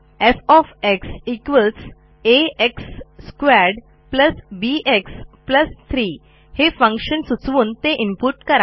F आ x2 B x 3 हे function सुचवून ते इनपुट करा